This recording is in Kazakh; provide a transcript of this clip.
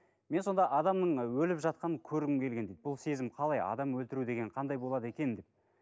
мен сонда адамның өліп жатқанын көргім келген дейді бұл сезім қалай адам өлтіру деген қандай болады екен деп